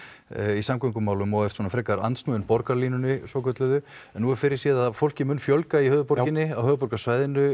í samgöngumálum og ert andsnúinn Borgarlínuni en nú er fyrirséð að fólki muni fjölga í borginni á höfuðborgarsvæðinu